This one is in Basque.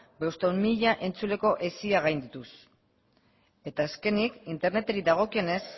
bostehun mila entzuleko hesia gaindituz eta azkenik interneteri dagokionez